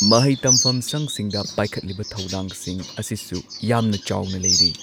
ꯃꯍꯩ ꯇꯝꯐꯝꯁꯪꯁꯤꯡꯗ ꯄꯥꯏꯈꯠꯂꯤꯕ ꯊꯧꯗꯥꯡꯁꯤꯡ ꯑꯁꯤꯁꯨ ꯌꯥꯝꯅ ꯆꯥꯎꯅ ꯂꯩꯔꯤ꯫